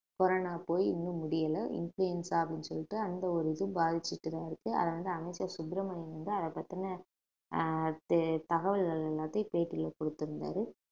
corona போய் இன்னும் முடியலை இன்ஃபுளுவென்சா அப்படின்னு சொல்லிட்டு அந்த ஒரு இதுவ பாதிச்சிட்டுதான் இருக்கு அத வந்து அமைச்சர் சுப்ரமணியம் வந்து அதைப் பத்தின ஆஹ் தே~ தகவல்கள் எல்லாத்தையும் பேட்டியில கொடுத்திருந்தாரு